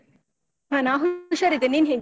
ಹಾ ನಾನು ಹುಷಾರಿದ್ದೇನೆ. ನೀನ್ ಹೇಗಿದ್ಯಾ?